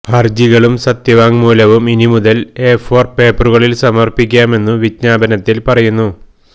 ഹരജികളും സത്യവാങ്മൂലവും ഇനിമുതല് A four പേപ്പറുകളില് സമര്പ്പിക്കാമെന്നു വിജ്ഞാപനത്തില് പറയുന്നു